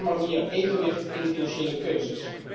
Zo kwam er meer evenwicht in de financiële keuzes.